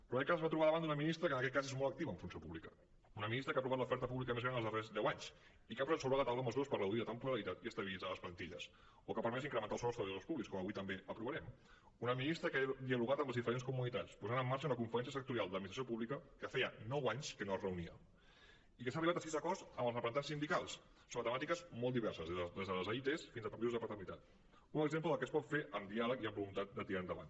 però en aquest cas es va trobar davant d’una ministra que en aquest cas és molt activa en funció pública una ministra que ha aprovat l’oferta pública més gran els darrers deu anys i que ha posat sobre la taula mesures per reduir la temporalitat i estabilitzar les plantilles o que ha permès incrementar el sou als treballadors públics com avui també aprovarem una ministra que ha dialogat amb les diferents comunitats i ha posat en marxa una conferència sectorial de l’administració pública que feia nou anys que no es reunia i que ha arribat a sis acords amb els representants sindicals sobre temàtiques molt diverses des de les aits fins a permisos de paternitat un exemple del que es pot fer amb diàleg i amb voluntat de tirar endavant